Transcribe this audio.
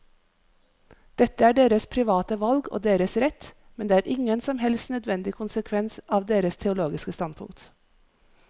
Dette er deres private valg og deres rett, men det er ingen som helst nødvendig konsekvens av deres teologiske standpunkt.